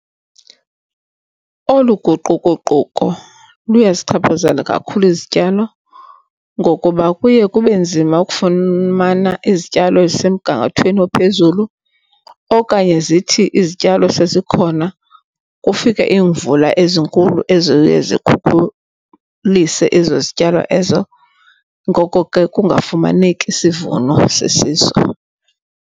Olu guquguquko luyasichaphazela kakhulu izityalo ngokuba kuye kube nzima ukufumana izityalo ezisemgangathweni ophezulu okanye zithi izityalo sezikhona kufike iimvula ezinkulu eziye zikhukhulise ezo zityalo ezo. Ngoko ke, kungafumaneki sivuno sisiso.